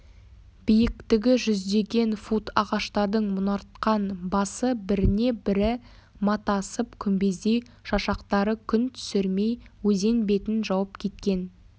биіктігі жүздеген фут ағаштардың мұнартқан басы біріне бірі матасып күмбездей шашақтары күн түсірмей өзен бетін жауып кеткен